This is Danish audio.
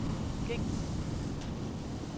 gængs